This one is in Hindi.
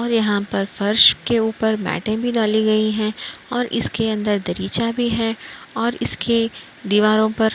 और यहाँ पर फर्श के ऊपर मैंटे भी डाली गई हैं और इसके अंदर दरीचा भी है और इसके दीवारों पर --